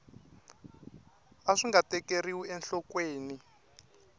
a swi nga tekeriwi enhlokweni